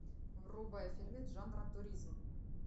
врубай фильмец жанра туризм